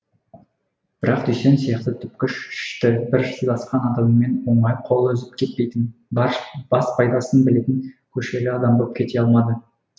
бірақ дүйсен сияқты түпкіш ішті бір сыйласқан адамымен оңай қол үзіп кетпейтін бас пайдасын білетін көшелі адам боп кете алмады